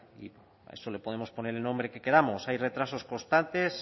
a eso le podemos poner el nombre que queramos hay retrasos constantes